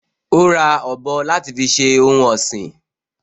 Ó ra ọ̀bọ láti fi ṣe ohun ọ̀sìn